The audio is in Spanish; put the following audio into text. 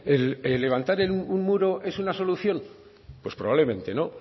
el levantar un muro es la solución pues probablemente no